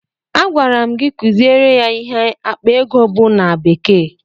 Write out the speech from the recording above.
Agwara m gị kuziere ya ihe akpa ego bụ na bekee!